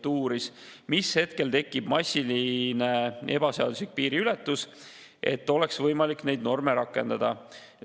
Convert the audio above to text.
Ta uuris, mis hetkest massilise ebaseadusliku piiriületusega ja oleks võimalik neid norme rakendada.